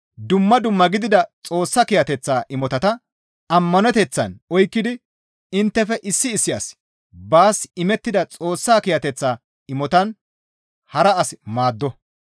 Dumma dumma gidida Xoossa kiyateththa imotata ammaneteththan oykkidi inttefe issi issi asi baas imettida Xoossa kiyateththa imotan hara as maaddo.